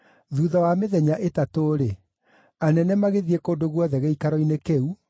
Thuutha wa mĩthenya ĩtatũ-rĩ, anene magĩthiĩ kũndũ guothe gĩikaro-inĩ kĩu,